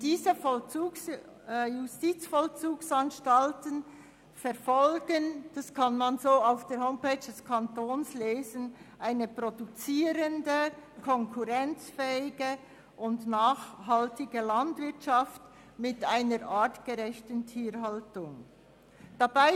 Diese Justizvollzugsanstalten verfolgen eine produzierende, konkurrenzfähige und nachhaltige Landwirtschaft mit einer artgerechten Tierhaltung, wie man der Homepage des Kantons entnehmen kann.